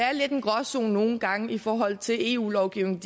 er lidt en gråzone nogle gange i forhold til eu lovgivningen